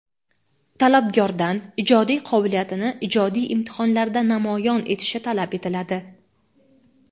Talabgordan ijodiy qobiliyatini ijodiy imtihonlarda namoyon etishi talab etiladi.